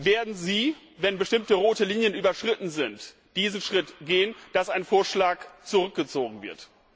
Werden Sie, wenn bestimmte rote Linien überschritten sind, diesen Schritt gehen, dass ein Vorschlag zurückgezogen wird?